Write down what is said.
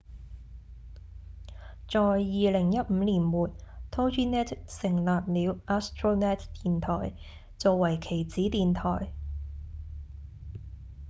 在2015年末 toginet 成立了 astronet 電台做為其子電台